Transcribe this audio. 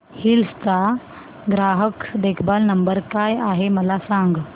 hills चा ग्राहक देखभाल नंबर काय आहे मला सांग